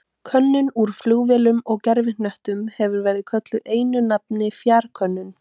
Könnun úr flugvélum og gervihnöttum hefur verið kölluð einu nafni fjarkönnun.